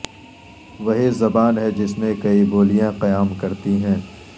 وہی زبان ہے جس میں کئی بولیاں قیام کرتی ہیں